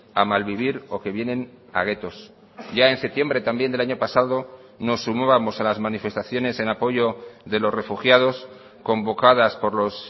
a malvivir o que vienen a guetos ya en septiembre también del año pasado nos sumábamos a las manifestaciones en apoyo de los refugiados convocadas por los